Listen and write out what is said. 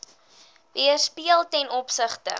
weerspieël ten opsigte